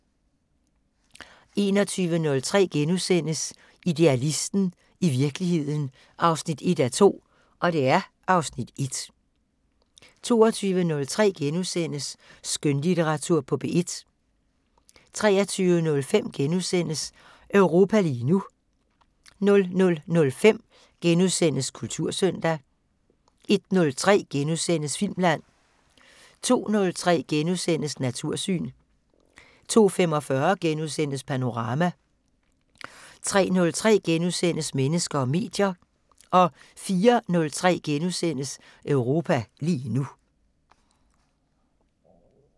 21:03: Idealisten – i virkeligheden 1:2 (Afs. 1)* 22:03: Skønlitteratur på P1 * 23:05: Europa lige nu * 00:05: Kultursøndag * 01:03: Filmland * 02:03: Natursyn * 02:45: Panorama * 03:03: Mennesker og medier * 04:03: Europa lige nu *